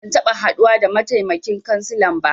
Ban taɓa haduwa da mataimakin kansilan ba.